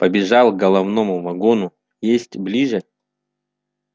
побежал к головному вагону есть ближе